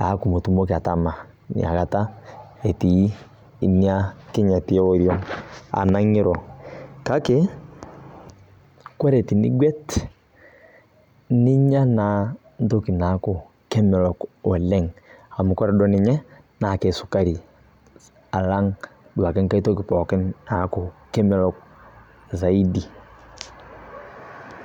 neaku mitumoki atama inakata etii ina kinyati e oriong' anaa ing'iru. Kake ore tinig'wet, ninya naa entoki naa kemelok oleng,' amu kore duo ninye naa esukari, alang' duake enkai otki pookin, neaku kemelok zaidi.